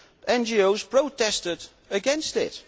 NGOs protested against it.